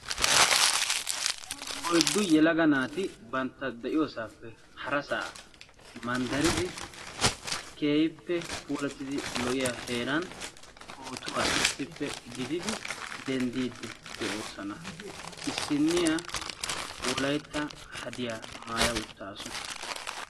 oyddu yelaga naati bantta de'iyoosappe harassaa manddaridi keehippe puullatidi lo"iyaa heeran pootuwaa issippe gididi denddidi de"oosona. issiniyaa hadiyaa maayya uttaasu.